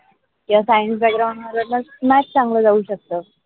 या science background वाल्यांना math चांगले जाऊ शकतो.